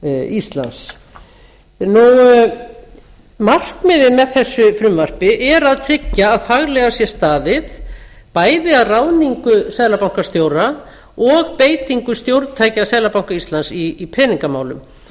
íslands markmiðið með þessu frumvarpi er að tryggja að faglega sé staðið bæði að ráðningu seðlabankastjóra og beitingu stjórntækja seðlabanka íslands í peningamálum